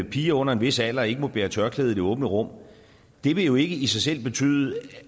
at piger under en vis alder ikke må bære tørklæde i det åbne rum vil jo ikke i sig selv betyde